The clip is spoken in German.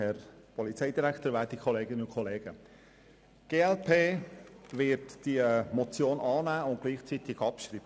Die glp-Fraktion wird die Motion annehmen und gleichzeitig abschreiben.